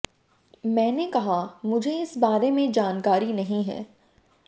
मैंने कहा मुझ इस बारे में जानकारी नहीं है